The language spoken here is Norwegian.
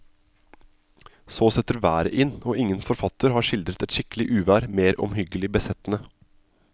Så setter været inn, og ingen forfatter har skildret et skikkelig uvær mer omhyggelig besettende.